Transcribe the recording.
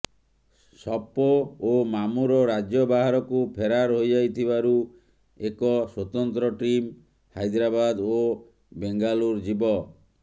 ସପୋ ଓ ମାମୁର ରାଜ୍ୟ ବାହାରକୁ ଫେରାର ହୋଇଯାଇଥିବାରୁ ଏକ ସ୍ୱତନ୍ତ୍ର ଟିମ ହାଇଦ୍ରାବାଦ ଓ ବେଙ୍ଗାଲୁର ଯିବ